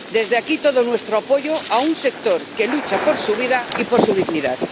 Desde aquí todo nuestro apoyo a un sector que lucha por su vida y por su dignidad.